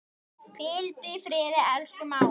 Hvíldu í friði, elsku mágur.